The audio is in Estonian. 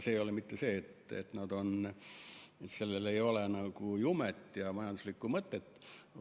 See ei ole mitte sellepärast, et sellel tegevusel ei oleks jumet ja majanduslikku mõtet.